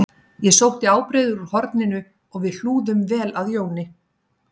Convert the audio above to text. Ég sótti ábreiður úr horninu og við hlúðum vel að Jóni